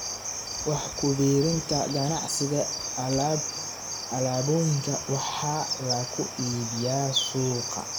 Wax ku biirinta Ganacsiga Alaabooyinka waxaa lagu iibiyaa suuqa.